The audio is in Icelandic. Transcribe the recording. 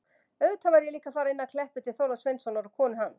Auðvitað varð ég líka að fara inn að Kleppi til Þórðar Sveinssonar og konu hans.